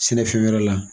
Sɛnɛfɛn wɛrɛ la